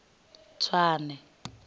tswane